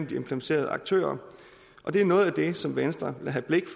de implicerede aktører og det er noget af det som venstre vil have blikket